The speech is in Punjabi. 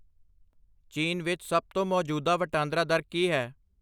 ਚੀਨ ਵਿੱਚ ਸਭ ਤੋਂ ਮੌਜੂਦਾ ਵਟਾਂਦਰਾ ਦਰ ਕੀ ਹੈ